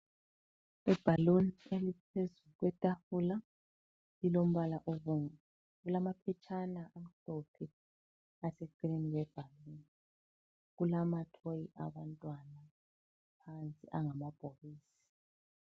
Ibhaluni eliphezu kwetafula lilombala obomvu, kulamafitshane amhlophe aseceleni kwebhaluni. Kulamathoyi abantwana aseceleni phansi angamabhokisi.